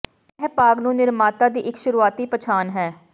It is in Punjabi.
ਇਹ ਭਾਗ ਨੂੰ ਨਿਰਮਾਤਾ ਦੀ ਇੱਕ ਸ਼ੁਰੂਆਤੀ ਪਛਾਣ ਹੈ